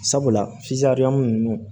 Sabula ninnu